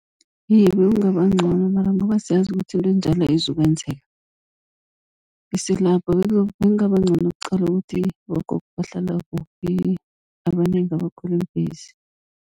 Iye, bekungaba ncono mara ngoba siyazi ukuthi into enjalo ayizukwenzeka isilapho. bekungaba ncono kuqalwe ukuthi abogogo bahlala kuphi abanengi abakhwela iimbhesi.